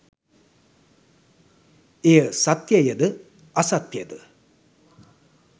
එය සත්‍යයද අසත්‍යද